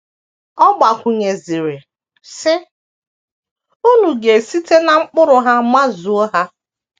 Ọ gbakwụnyeziri, sị: “ Unu ga - esite ná mkpụrụ ha mazuo ha. ”